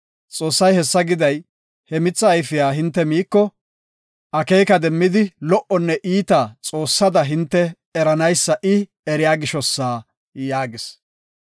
Xoossay hessa giday, he mitha ayfiya hinte miiko akeeka demmidi lo77onne iitaa Xoossada hinte eranaysa I, eriya gishosa” yaagis.